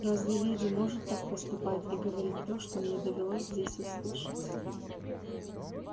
разве леди может так поступать и говорить то что мне довелось здесь услышать